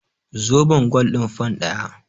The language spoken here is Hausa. Zobon gwal ɗin fan ɗaya.